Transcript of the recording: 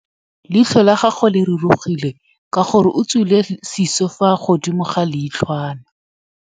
Leitlhô la gagwe le rurugile ka gore o tswile sisô fa godimo ga leitlhwana.